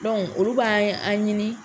Dɔnku, olu b'a ye an ɲini